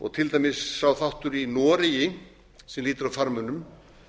og til dæmis sá þáttur í noregi sem lýtur að farmönnum